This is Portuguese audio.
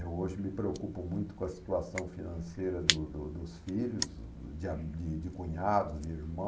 Eu hoje me preocupo muito com a situação financeira do do dos filhos, de a de de cunhados, de irmãos.